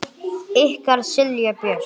Ykkar Silja Björk.